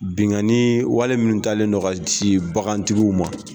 Binnkanni wale min talen don ka sin bagantigiw ma